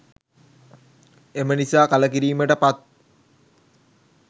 එම නිසා කළකිරීමට පත්